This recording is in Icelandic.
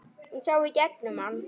Hún sá í gegnum hann.